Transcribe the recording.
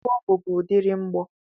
Bọmbụ bu udiri mgbọ.